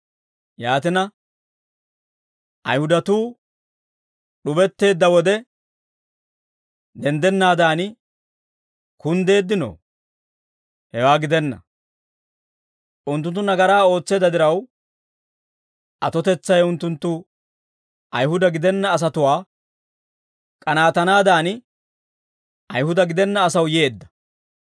Yaatina, Ayihudatuu d'ubetteedda wode, denddennaadan kunddeeddino? Hewaa gidenna; unttunttu nagaraa ootseedda diraw, atotetsay unttunttu Ayihuda gidenna asatuwaa k'anaatanaadan, Ayihuda gidenna asaw yeedda.